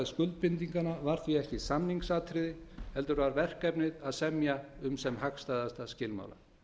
skuldbindinganna var því ekki samningsatriði heldur var verkefnið að semja um sem hagstæðasta skilmála